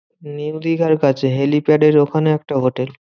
New দিঘার কাছে helipad এর ওখানে একটা হোটেল।